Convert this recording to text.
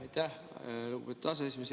Aitäh, lugupeetud aseesimees!